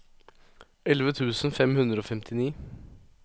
elleve tusen fem hundre og femtini